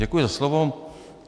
Děkuji za slovo.